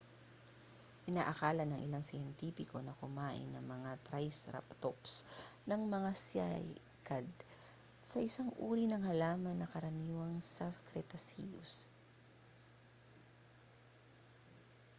inaakala ng ilang siyentipiko na kumain ang mga triceratops ng mga cycad na isang uri ng halaman na karaniwan sa cretaceous